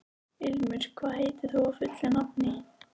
Ilmur, hvað heitir þú fullu nafni?